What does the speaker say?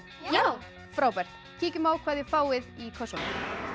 já frábært kíkjum á hvað þið fáið í kössunum